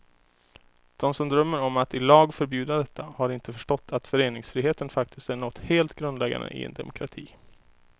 De som drömmer om att i lag förbjuda detta har inte förstått att föreningsfriheten faktiskt är något helt grundläggande i en demokrati.